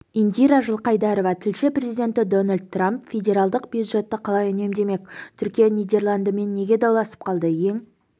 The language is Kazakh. индира жылқайдарова тілші президенті дональд трамп федералдық бюджетті қалай үнемдемек түркия нидерландымен неге дауласып қалды ең